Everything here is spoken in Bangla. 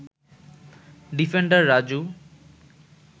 ডিফেন্ডার রাজু